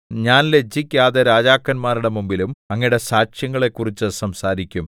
ഞാൻ ലജ്ജിക്കാതെ രാജാക്കന്മാരുടെ മുമ്പിലും അങ്ങയുടെ സാക്ഷ്യങ്ങളെക്കുറിച്ചു സംസാരിക്കും